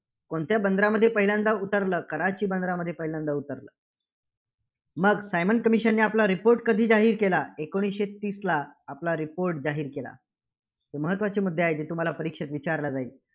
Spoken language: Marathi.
कोणत्या बंदरामध्ये पहिल्यांदा उतरलं? कराची बंदरामध्ये पहिल्यांदा उतरलं. मग सायमन commission ने आपला report कधी जाहीर केला? एकोणीसशे तीसला, आपला report जाहीर केला. तर महत्त्वाचे मुद्दे आहेत, जे तुम्हाला परीक्षेत विचारला जाईल.